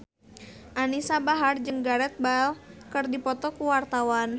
Anisa Bahar jeung Gareth Bale keur dipoto ku wartawan